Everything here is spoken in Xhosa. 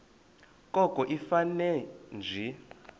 koko ifane nje